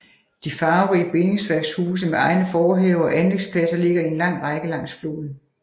De farverige bindingsværkshuse med egne forhaver og anlægspladser ligger i en lang række langs floden